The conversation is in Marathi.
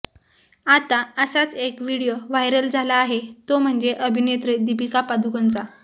आता असाच एक व्हिडिओ व्हायरल झाला आहे तो म्हणजे अभिनेत्री दीपिका पदुकोणचा